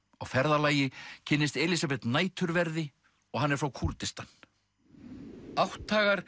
á ferðalagi kynnist Elísabet næturverði og hann er frá Kúrdistan